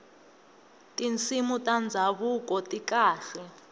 tinsimu ta ndhavuko ti kahle